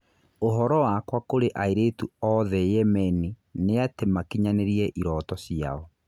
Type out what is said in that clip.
ũhoro wakwa kũrĩ airĩtu othe Yemeni nĩatĩ makinyanĩrie irooto ciao.